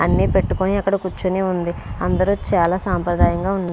అని పెటుకొని అక్కడ కురుచొని ఉంది అందరు చాల సంప్రదాయం గ ఉం --